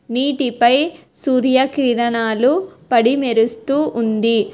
నీటిపై సూర్యకిరణాలు పడి మెరుస్తూ ఉంది.